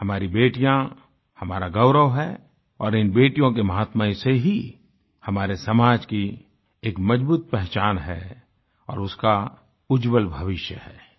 हमारी बेटियाँ हमारा गौरव हैं और इन बेटियों के महात्मय से ही हमारे समाज की एक मजबूत पहचान है और उसका उज्ज्वल भविष्य है